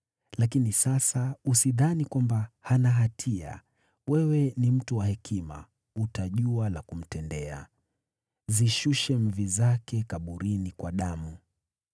Lakini sasa, usidhani kwamba hana hatia. Wewe ni mtu wa hekima, utajua la kumtendea. Zishushe mvi zake kaburini kwa damu.”